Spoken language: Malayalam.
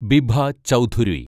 ബിഭ ചൗധുരി